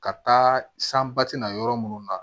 Ka taa san bati na yɔrɔ munnu na